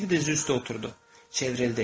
Biri diz üstə oturdu, çevrildi.